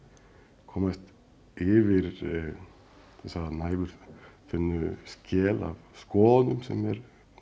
komast yfir þessa næfurþunnu skel af skoðunum sem er